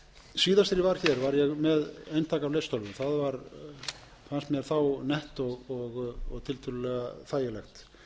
var hér var ég með eintak af lestölvu það fannst mér þá nett og tiltölulega þægilegt